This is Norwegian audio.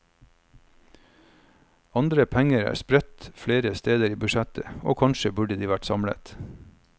Andre penger er spredt flere steder i budsjettet, og kanskje burde de vært samlet.